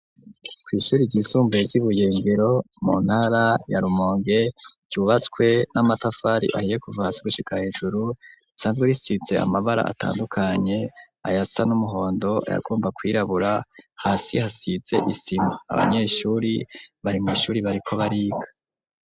Kw'ishure ryisumbuye ry'Ibuyengero, mu ntara ya Rumonge, ryubatswe n'amatafari ahiye kuva hasi gushika hejuru, risanzwe risize amabara atandukanye, ayasa n'umuhondo, ayagomba kwirabura, hasi hasize isima. Abanyeshure bari mw'ishure bariko bariga.